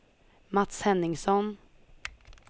Mats Henningsson